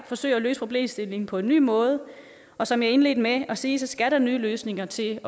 forsøger at løse problemstillingen på en ny måde og som jeg indledte med at sige skal der nye løsninger til